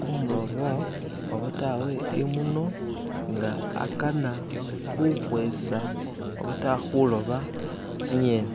kumulobo obatawe imono nga akana khukhwesa obata khuloba tsingeni.